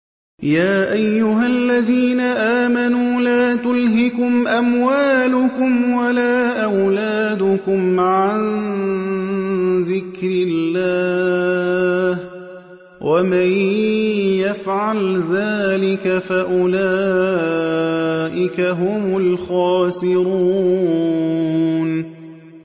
يَا أَيُّهَا الَّذِينَ آمَنُوا لَا تُلْهِكُمْ أَمْوَالُكُمْ وَلَا أَوْلَادُكُمْ عَن ذِكْرِ اللَّهِ ۚ وَمَن يَفْعَلْ ذَٰلِكَ فَأُولَٰئِكَ هُمُ الْخَاسِرُونَ